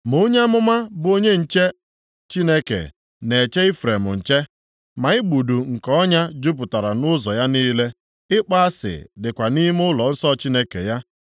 Ma onye amụma bụ onye nche Chineke, na-eche Ifrem nche, ma igbudu nke ọnya jupụtara nʼụzọ ya niile, ịkpọ asị dịkwa nʼime nʼụlọnsọ Chineke ya.